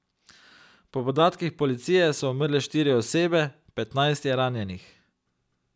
Po podatkih policije so umrle štiri osebe, petnajst je ranjenih.